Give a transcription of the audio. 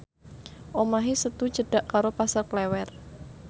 omahe Setu cedhak karo Pasar Klewer